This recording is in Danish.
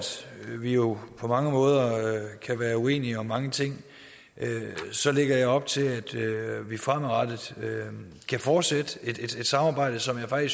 vi jo på mange måder kan være uenige om mange ting så lægger op til at vi fremadrettet kan fortsætte et samarbejde som jeg